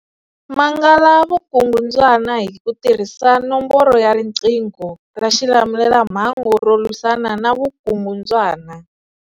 Mangala vukungundzwana hi ku tirhisa nomboro ya riqingho ra xilamulelamhangu ro lwisana na vukungundzwana.